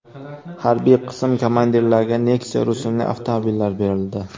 Harbiy qism komandirlariga Nexia rusumli avtomobillar berildi.